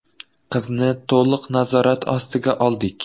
Qizni to‘liq nazorat ostiga oldik.